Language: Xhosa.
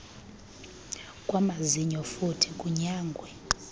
kwamazinyo futhi kunyangwe